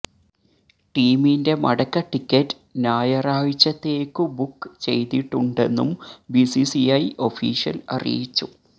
ടീമിന്റെ മടക്ക ടിക്കറ്റ് ഞായറാഴ്ചത്തേക്കു ബുക്ക് ചെയ്തിട്ടുണ്ടെന്നും ബിസിസിഐ ഒഫീഷ്യല് അറിയിച്ചു